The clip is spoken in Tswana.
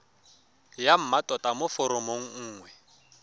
ya mmatota mo foromong nngwe